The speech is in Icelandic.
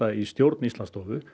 í stjórn Íslandsstofu